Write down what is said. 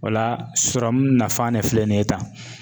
O la sɔrɔmu nafan de filɛ nin ye tan